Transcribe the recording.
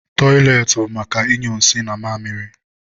Tọịletị bụ maka ịnyụ nsị na mamịrị